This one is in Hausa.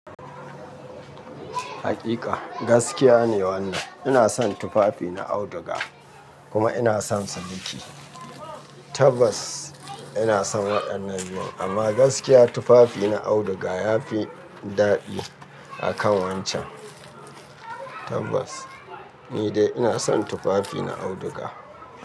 Haƙiƙa, gaskiya ne wannan. Ina son tufafi na auduga kuma ina sonsa miki. Tabbas ina son waɗannan biyun amma gaskiya tufafi na auduga ya fi daɗi a kan wancan. Tabbas ni dai ina son tufafi na auduga.